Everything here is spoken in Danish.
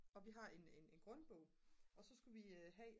og vi har en grundbog og så skulle vi have